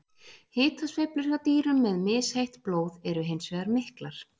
Hitasveiflur hjá dýrum með misheitt blóð eru hins vegar miklar.